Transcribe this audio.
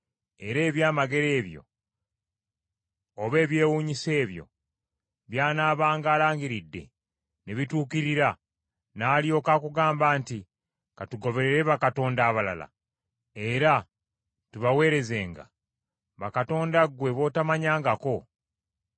era ebyamagero ebyo, oba ebyewuunyisa ebyo by’anaabanga alangiridde ne bituukirira, n’alyoka akugamba nti, “Ka tugoberere bakatonda abalala era tubaweerezenga” (bakatonda ggwe b’otomanyangako),